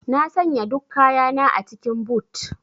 Na sanya duk kayana a cikin boot.